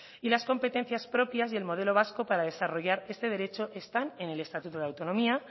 y las competencias propias y el modelo vasco para desarrollar este derecho están en el estatuto de autonomía